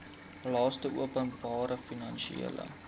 laste openbare finansiële